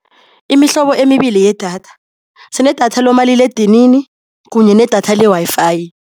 Imihlobo emibili yedatha, sinedatha lomaliledinini kunye nedatha le-Wi-Fi.